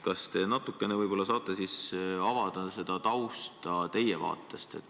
Kas te saaksite seda tausta natukene avada enda vaatest lähtuvalt?